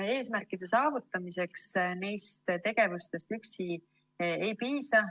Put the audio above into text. Eesmärkide saavutamiseks neist tegevustest üksi ei piisa.